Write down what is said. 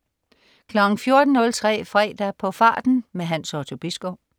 14.03 Fredag på farten. Hans Otto Bisgaard